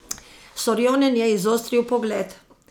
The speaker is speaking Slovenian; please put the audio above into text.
Sorjonen je izostril pogled.